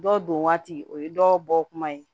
Dɔw don waati o ye dɔw bɔ kuma ye